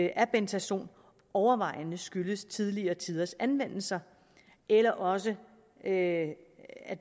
af bentazon overvejende skyldes tidligere tiders anvendelse eller også at